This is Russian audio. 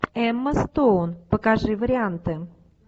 эмма стоун покажи варианты